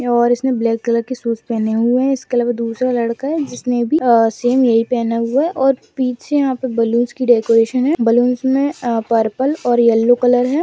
और इसने black colour के शूज पहने हुए है इस कलर में दूसरा लड़का है जिसने भी सेम यही पहना हुआ है और पीछे यहाँ पे बैलूनस की डेकोरेशन है बलूनस में पर्पल और येलो कलर है।